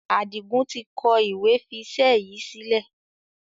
Adigun tí kọ ìwé fi iṣẹ́ yìí sílẹ̀.